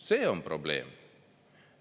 See on probleem!